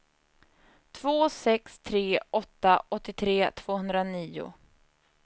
två sex tre åtta åttiotre tvåhundranio